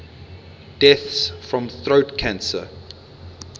deaths from throat cancer